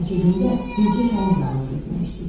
Bu neçə gündə bircə çayın qırağına getməmişdik.